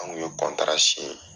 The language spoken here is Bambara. An kun ye